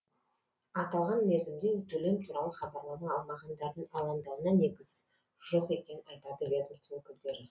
аталған мерзімде төлем туралы хабарлама алмағандардың алаңдауына негіз жоқ екенін айтады ведмоство өкілдері